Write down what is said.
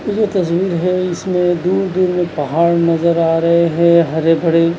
तस्वीर है इसमें दूर-दूर में पहाड़ नजर आ रहे हैं हरे बड़े।